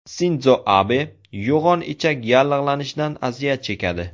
Sindzo Abe yo‘g‘on ichak yallig‘lanishidan aziyat chekadi.